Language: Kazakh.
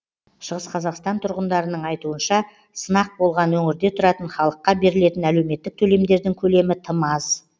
шығыс қазақстан тұрғындарының айтуынша сынақ болған өңірде тұратын халыққа берілетін әлеуметтік төлемдердің көлемі тым аз